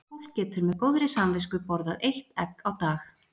Fólk getur með góðri samvisku borðað eitt egg á dag.